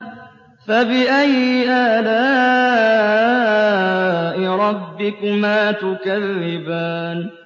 فَبِأَيِّ آلَاءِ رَبِّكُمَا تُكَذِّبَانِ